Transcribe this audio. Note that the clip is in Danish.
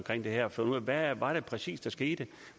det her for hvad var det præcis der skete